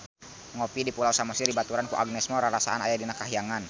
Ngopi di Pulau Samosir dibaturan ku Agnes Mo rarasaan aya di kahyangan